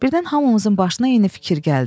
Birdən hamımızın başına eyni fikir gəldi.